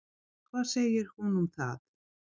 En hvað segir hún um það?